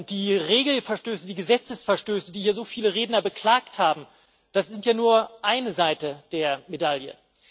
Die Regelverstöße, die Gesetzesverstöße, die hier so viele Redner beklagt haben, das ist ja nur eine Seite der Medaille.